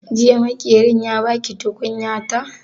Jiya Maƙerin ya ba ki tukunyata?